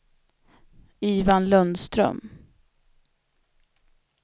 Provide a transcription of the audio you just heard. Ivan Lundström